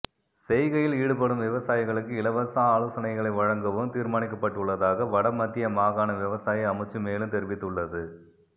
செய்கையில் ஈடுபடும் விவசாயிகளுக்கு இலவச ஆலோசனைகளை வழங்கவும் தீர்மானிக்கப்பட்டுள்ளதாக வட மத்திய மாகாண விவசாய அமைச்சு மேலும் தெரிவித்துள்ளது